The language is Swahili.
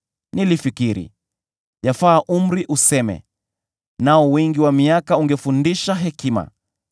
Nilifikiri, ‘Yafaa umri useme, nao wingi wa miaka ungefundisha hekima.’